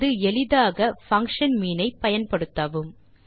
அல்லது எளிதாக function mean ஐ பயன்படுத்தவும்